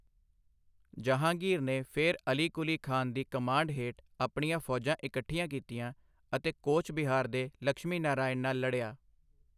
ਜਹਾਂਗੀਰ ਨੇ ਫਿਰ ਅਲੀ ਕੁਲੀ ਖਾਨ ਦੀ ਕਮਾਂਡ ਹੇਠ ਆਪਣੀਆਂ ਫੌਜਾਂ ਇਕੱਠੀਆਂ ਕੀਤੀਆਂ ਅਤੇ ਕੋਚ ਬਿਹਾਰ ਦੇ ਲਕਸ਼ਮੀ ਨਾਰਾਇਣ ਨਾਲ ਲੜਿਆ।